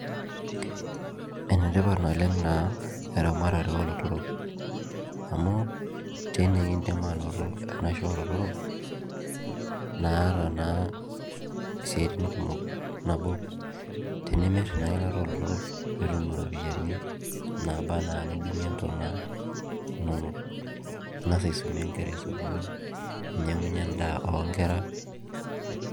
Enetipat naleng na eramatare olotorok amu tine kindim ainoto enaisho olotorok naata naa siatin kumok, nabo tenimir ena ilata olotorok nitum iropiyani naba na nidungie ntona inonok ningasa aisumie nkera esukul ninyangunyie endaa onkera .